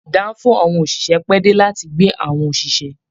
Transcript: Danfo àwọn oṣiṣẹ pẹ̀ dé láti gbé àwọn oṣiṣẹ.